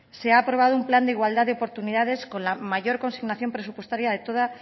se ha aprobado un plan de igualdad de oportunidades con la mayor consignación presupuestaria de toda